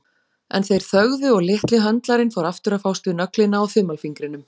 En þeir þögðu og litli höndlarinn fór aftur að fást við nöglina á þumalfingrinum.